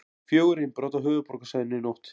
Fjögur innbrot á höfuðborgarsvæðinu í nótt